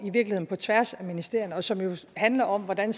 på tværs af ministerierne og som jo handler om hvordan